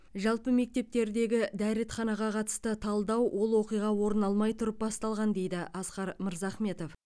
жалпы мектептердегі дәретханаға қатысты талдау ол оқиға орын алмай тұрып басталған дейді асқар мырзахметов